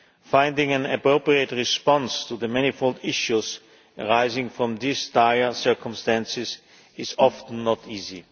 Finding an appropriate response to the manifold issues arising from these dire circumstances is often not easy.